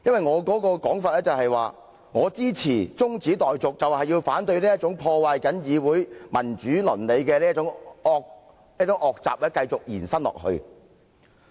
我的說法是，我支持中止待續議案，就是要反對這種破壞議會民主倫理的惡習繼續延伸。